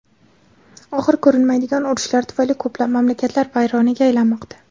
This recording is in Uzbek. Oxiri ko‘rinmaydigan urushlar tufayli ko‘plab mamlakatlar vayronaga aylanmoqda.